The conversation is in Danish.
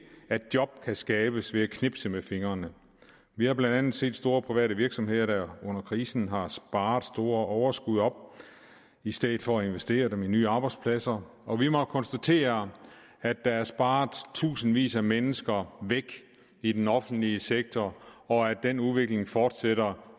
at job kan skabes ved at man knipser med fingrene vi har blandt andet set store private virksomheder der under krisen har sparet store overskud op i stedet for at investere dem i nye arbejdspladser og vi må konstatere at der er sparet tusindvis af mennesker væk i den offentlige sektor og at den udvikling fortsætter